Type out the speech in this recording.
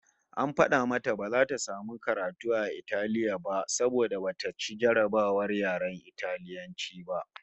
AN fada mata bata samu karatu a Italiya ba saboda bata ci jarrabawar yaren Italiyanci ba